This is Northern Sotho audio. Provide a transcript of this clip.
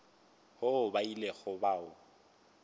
woo ba ilego ba o